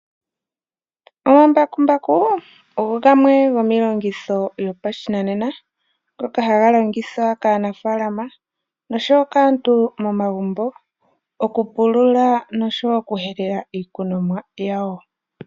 Omambakumbaku ogo gamwe gomiilongitho yopashinanena ngoka ha ga longithwa kaanafaalama nosho woo kaantu momagumbo oku pulula nosho woo okuhelela iikunomwa yawo.